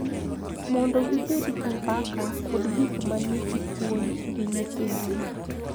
Mondo gibed gi mbaka kod gik ma nigi puonj gi nyithindgi,